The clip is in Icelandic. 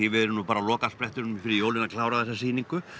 við erum nú bara á lokasprettinum fyrir jólin að klára þessa sýningu